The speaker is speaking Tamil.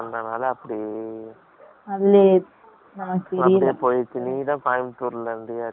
அதுல போயிட்டு, நீதான் கோயம்புத்தூர்ல இருந்தியாச்சு. ஆ,